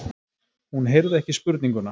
Hún heyrði ekki spurninguna.